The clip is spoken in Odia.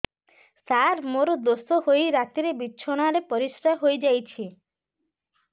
ସାର ମୋର ଦୋଷ ହୋଇ ରାତିରେ ବିଛଣାରେ ପରିସ୍ରା ହୋଇ ଯାଉଛି